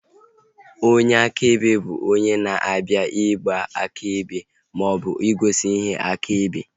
Onyeakebe bụ onye na-abịa ịgba akaebe maọbụ igosi ihe akaebe